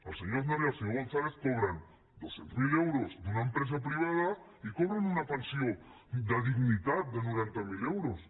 el senyor aznar i el senyor gonzález cobren dos cents miler euros d’una empresa privada i cobren una pensió de dignitat de noranta mil euros